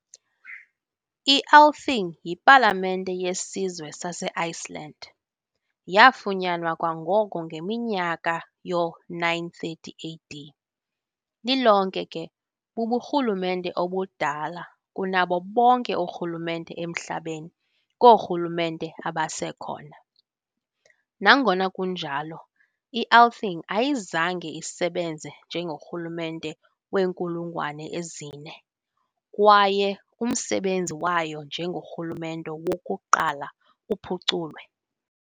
I-Althing, yipalamente yesizwe saseiceland, yaafunyanwa kwangoko ngeminyaka yoo-930 AD, lilonke ke buburhulumente obudala kunabo bonke oorhulumente emhlabeni koorhulumente abasekhona. Nangona kunjalo, i-Althing ayizange isebenze njengorhulumente weenkulungwane ezine, kwaye umsebenzi wayo njengorhulumente "wokuqala" uphuculwe.